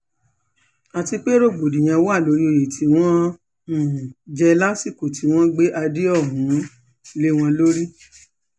àti pé rògbòdìyàn wà lórí oyè tí wọ́n um jẹ́ lásìkò tí wọ́n gbé adé um lé wọn lórí